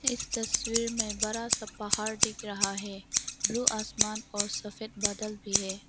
इस तस्वीर में बड़ा सा पहाड़ दिख रहा है ब्लू आसमान और सफेद बादल भी हैं।